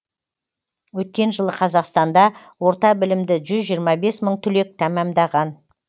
өткен жылы қазақстанда орта білімді жүз жиырма бес мың түлек тәмәмдаған